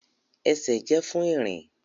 Ẹsẹ jẹ fun irin.